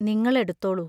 നിങ്ങൾ എടുത്തോളൂ.